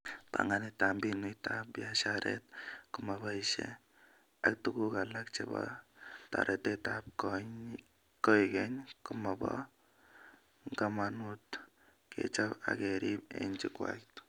Banganetab mbinutab biasharet komobaishe ak tuguk alak chebo toretetab koikeny komobo ngamanut kechob ak kerib eng jukwait